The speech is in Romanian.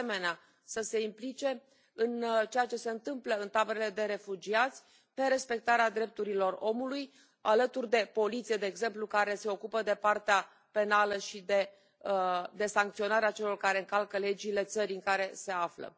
De asemenea, să se implice în ceea ce se întâmplă în taberele de refugiați pe respectarea drepturilor omului, alături de poliție, de exemplu, care se ocupă de partea penală și de sancționarea celor care încalcă legile țării în care se află.